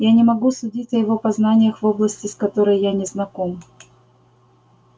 я не могу судить о его познаниях в области с которой я не знаком